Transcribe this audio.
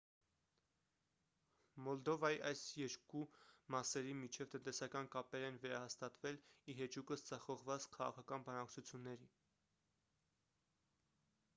մոլդովայի այս երկու մասերի միջև տնտեսական կապեր են վերահաստատվել ի հեճուկս ձախողված քաղաքական բանակցությունների